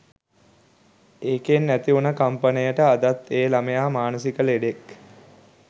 එකෙන් ඇතිවුන කම්පනයට අදත් ඒ ළමයා මානසික ලෙඩෙක්